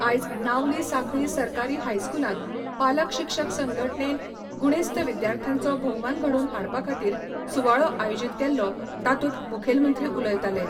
आयज नावली सांखळी सरकारी हायस्कुलांत पालक शिक्षक संघटणेन गुणेस्त विद्यार्थ्यांचो भोवमान घडोवन हाडपा खातीर सुवाळो आयोजीत केल्लो तातूंत मुखेलमंत्री उलयताले.